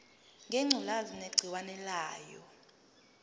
ngengculazi negciwane layo